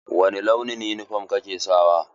Wani launin yunifom ka ke sawa?